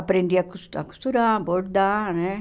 Aprendi a cos a costurar, bordar, né?